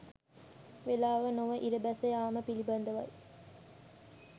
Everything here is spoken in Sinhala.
වේලාව නොව ඉර බැස යාම පිළිබඳවයි